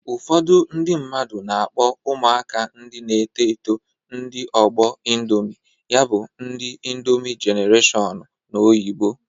Ụfọdụ ndị mmadu na-akpọ ụmụaka ndị na-eto eto ndị ọgbọ Indomị. Ya bụ, ndi Indomị jenareshọn n'oyibo